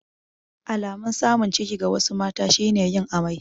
Alamun samun ciki ga wasu mata shi ne yin amai.